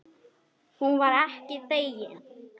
Hún var ekki þegin.